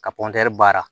Ka baara